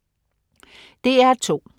DR2: